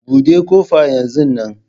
Buɗe ƙofa yanzu nan